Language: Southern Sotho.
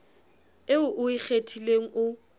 eo o e kgethileng o